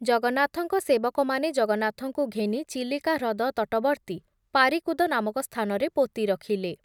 ଜଗନ୍ନାଥଙ୍କ ସେବକମାନେ ଜଗନ୍ନାଥଙ୍କୁ ଘେନି ଚିଲିକା ହ୍ରଦ ତଟବର୍ତୀ ପାରିକୁଦ ନାମକ ସ୍ଥାନରେ ପୋତି ରଖିଲେ ।